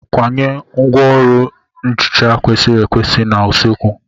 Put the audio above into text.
Kwanye ngwaọrụ nhicha kwesịrị ekwesị n'usekwu.